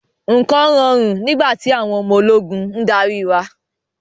Nǹkan rọrùn nígbà tí àwọn ọmọ ológun ń darí wa.